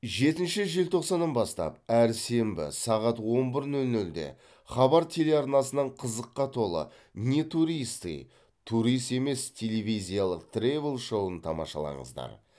жетінші желтоқсаннан бастап әр сенбі сағат он бір нөл нөлде хабар телеарнасынан қызыққа толы не туристы турист емес телевизиялықтревел шоуын тамашалаңыздар